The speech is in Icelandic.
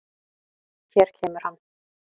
Hér kemur hann.